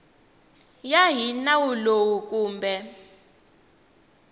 ya hi nawu lowu kumbe